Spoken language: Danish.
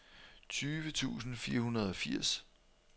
tyve tusind fire hundrede og firs